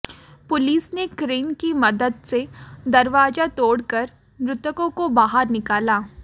police ने crane की मदद से दरवाजा तोड़कर मृतकों को बाहर निकाला